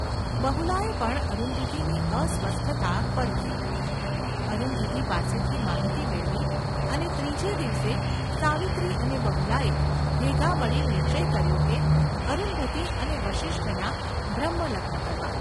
બહુલાએ પણ અરુંધતીની અસ્વસ્થતા પરખી, અરુંધતી પાસેથી માહિતી મેળવી અને ત્રીજે દિવસે સાવિત્રી અને બહુલાએ ભેગા મળી નિશ્ચય કર્યો કે અરુંધતી અને વસિષ્ઠનાં બ્રહ્મલગ્ન કરવાં.